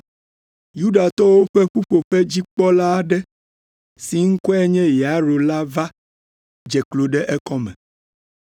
Yudatɔwo ƒe ƒuƒoƒedzikpɔla aɖe si ŋkɔe nye Yairo la va dze klo ɖe ekɔme,